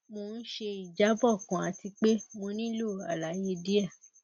mo n ṣe ijabọ kan ati pe mo nilo alaye diẹ